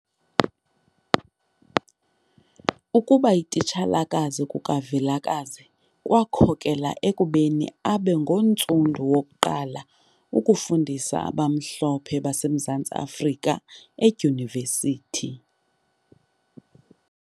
Ukubayititshala kukaVilakazi kwakhokela ekubeni abe ngontsundu wokuqala ukufundisa abamhlophe baseMzantsi Afrika edyunivesithi.